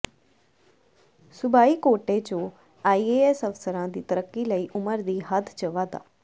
ਸੂਬਾਈ ਕੋਟੇ ਚੋ ਆਈਏਐਸ ਅਫਸਰਾਂ ਦੀ ਤਰੱਕੀ ਲਈ ਉਮਰ ਦੀ ਹੱਦ ਚ ਵਾਧਾ